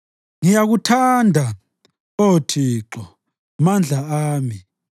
Ngiyakuthanda, Oh Thixo, Mandla ami.